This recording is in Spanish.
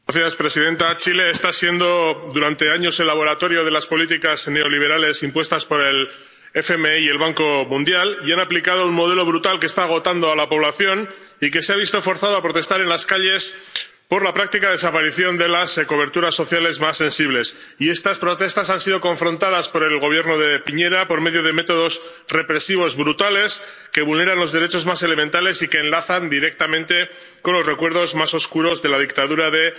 Señora presidenta, Chile lleva siendo durante años el laboratorio de las políticas neoliberales impuestas por el FMI y el Banco Mundial y ha aplicado un modelo brutal que está agotando a la población, que se ha visto forzada a protestar en las calles por la práctica desaparición de las coberturas sociales más sensibles. Y estas protestas han sido afrontadas por el Gobierno de Piñera por medio de métodos represivos brutales que vulneran los derechos más elementales y que enlazan directamente con los recuerdos más oscuros de la dictadura de